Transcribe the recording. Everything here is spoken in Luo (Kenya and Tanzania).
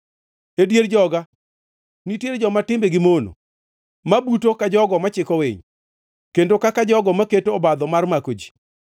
“E dier joga nitiere joma timbegi mono ma buto ka jogo machiko winy, kendo kaka jogo maketo obadho mar mako ji.